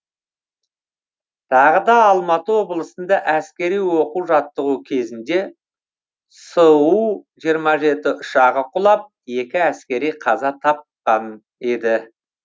тағы да алматы облысында әскери оқу жаттығу кезінде су жиырма жеті ұшағы құлап екі әскери қаза тапқан еді